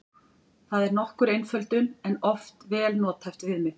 Það er nokkur einföldun en oft vel nothæft viðmið.